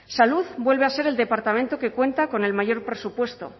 salud vuelve a ser el departamento que cuenta con el mayor presupuesto